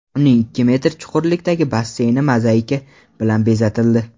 Uning ikki metr chuqurlikdagi basseyni mozaika bilan bezatildi.